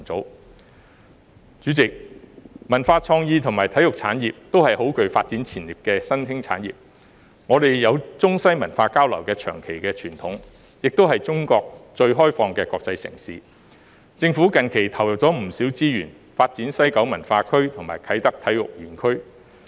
代理主席，文化創意和體育產業也是很具發展潛力的新興產業，我們有中西文化交流的長期傳統，也是中國最開放的國際城市，政府近期投入不少資源，發展西九文化區和啟德體育園區。